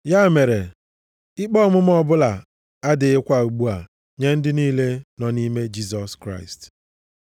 Ya mere, ikpe ọmụma ọbụla adịghịkwa ugbu a nye ndị niile nọ nʼime Jisọs Kraịst.